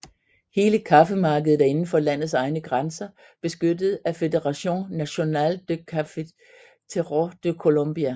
Hele kaffemarkedet er inden for landets egne grænser bestyret af Federación Nacional de Cafeteros de Colombia